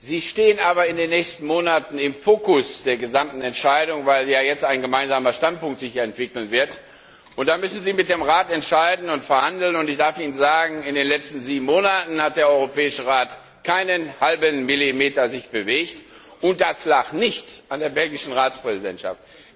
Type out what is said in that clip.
Sie stehen aber in den nächsten Monaten im Fokus der gesamten Entscheidung, weil sich ja jetzt ein gemeinsamer Standpunkt entwickeln wird. Sie müssen mit dem Rat entscheiden und verhandeln, und ich darf Ihnen sagen, in den letzten sieben Monaten hat sich der Europäische Rat keinen Millimeter bewegt, und das lag nicht an der belgischen Ratspräsidentschaft.